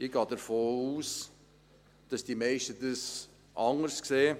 Ich gehe davon aus, dass die meisten das anders sehen.